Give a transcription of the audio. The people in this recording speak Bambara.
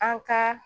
An ka